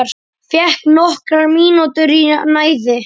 Fékk nokkrar mínútur í næði.